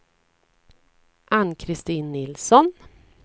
Ann-Kristin Nilsson